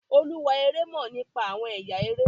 olúwa eré mọ nípa awọn ẹyà eré